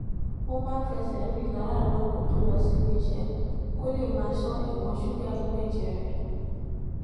ó máa ń fẹsè rìn láràárò kó tó lọ síbi iṣé kó lè máa ṣó ìwòn ṣúgà inú èjè rè